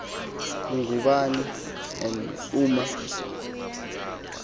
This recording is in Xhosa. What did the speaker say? ngubani n oma